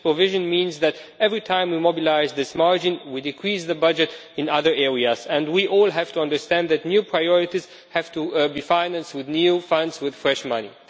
This provision means that every time we mobilise this margin we decrease the budget in other areas. We all have to understand that new priorities have to be financed with new funds with fresh money.